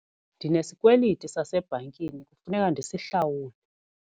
Ndinesikweliti sasebhankini kufuneka ndisihlawule.